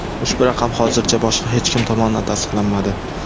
Ushbu raqam hozircha boshqa hech kim tomonidan tasdiqlanmadi.